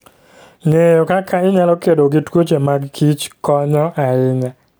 Ng'eyo kaka inyalo kedo gi tuoche mag kich konyo ahinya.